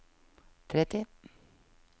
tretti